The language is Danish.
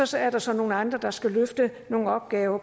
så er der så nogle andre der skal løfte nogle opgaver